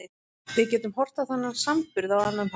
Við getum horft á þennan samburð á annan hátt.